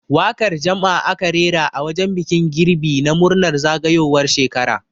Waƙar jam'a aka rera a wajen bikin girbi na murnar zagayowar shekara.